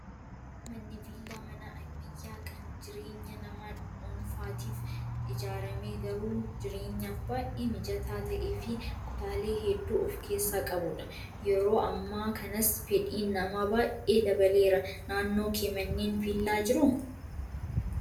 Manni viillaa mana ammayyaa kan jireenya nama dhuunfaatiif ijaarame garuu jireenyaaf baay'ee mijataa ta'ee fi kutaalee hedduu of keessaa qabudha. Yeroo ammaa kanas fedhiin namaa baay'ee dabaleera. Naannoo kee manneen viillaa jiru?